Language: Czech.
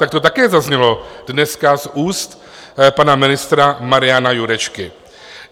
Tak to také zaznělo dneska z úst pana ministra Mariana Jurečky.